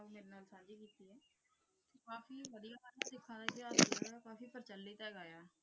ਕਾਫੀ ਪਤਾ ਲਗਾਇਆ